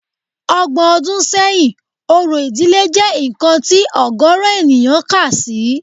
Ọgbọ̀n ọdún sẹ́yìn, orò ìdílé jẹ́ nǹkan tí ọ̀gọ̀ọ̀rọ̀ ènìyàn kà sí